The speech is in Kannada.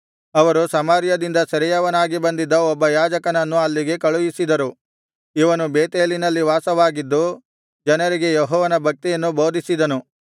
ಅವರು ಸಮಾರ್ಯದಿಂದ ಸೆರೆಯವನಾಗಿ ಬಂದಿದ್ದ ಒಬ್ಬ ಯಾಜಕನನ್ನು ಅಲ್ಲಿಗೆ ಕಳುಹಿಸಿದರು ಇವನು ಬೇತೇಲಿನಲ್ಲಿ ವಾಸವಾಗಿದ್ದು ಜನರಿಗೆ ಯೆಹೋವನ ಭಕ್ತಿಯನ್ನು ಬೋಧಿಸಿದನು